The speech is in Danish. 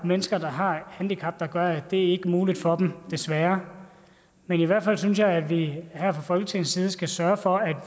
mennesker der har handicap der gør at det ikke er muligt for dem desværre men i hvert fald synes jeg at vi her fra folketingets side skal sørge for at